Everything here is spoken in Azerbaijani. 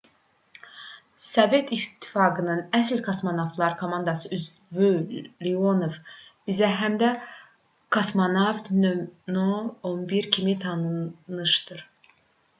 sovet i̇ttifaqının əsl kosmonavtlar komandasının üzvü leonov bizə həm də kosmonavt no:11 kimi tanışdır